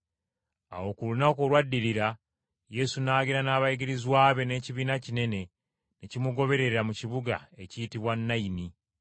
Awo ku lunaku olwaddirira, Yesu n’agenda n’abayigirizwa be n’ekibiina kinene ne kimugoberera mu kibuga ekiyitibwa Nayini.